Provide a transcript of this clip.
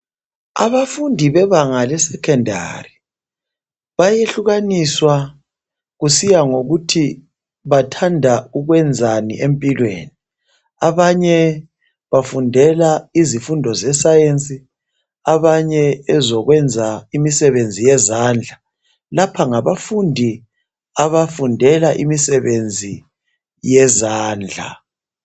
Abafundi bebanga lesecondary bayehlukaniswa kusiya ngokuthi bathanda ukwenzani empilweni. Abanye bafundela izifundo zesayensi abanye ezokwenza imisebenzi yezandla. Lapha ngabafundi abafundela imisebenzi yezandla.